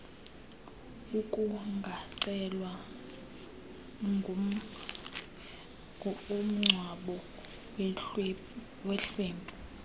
kungacelwa umngcwabo wehlwempu